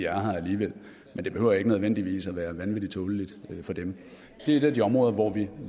her alligevel men det behøver ikke nødvendigvis være vanvittig tåleligt for dem det er et af de områder hvor vi